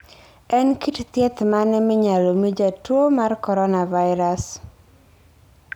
En kit thieth mane minyalo mi jatuo mar coronavirus?